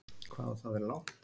Hvað á það að vera langt?